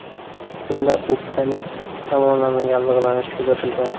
Unda o‘pkaning ikki tomonlama yallig‘lanishi kuzatilgan.